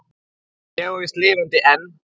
Ég er víst lifandi enn!